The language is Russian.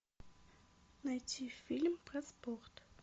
найти фильм про спорт